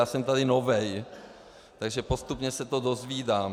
Já jsem tady nový, takže postupně se to dozvídám.